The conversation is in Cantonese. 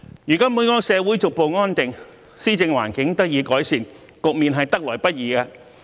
如今本港社會逐步回復安定，施政環境得以改善，這個局面得來不易。